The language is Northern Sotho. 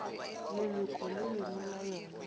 leloko le lengwe la yona